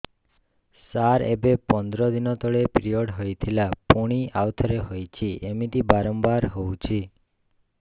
ସାର ଏବେ ପନ୍ଦର ଦିନ ତଳେ ପିରିଅଡ଼ ହୋଇଥିଲା ପୁଣି ଆଉଥରେ ହୋଇଛି ଏମିତି ବାରମ୍ବାର ହଉଛି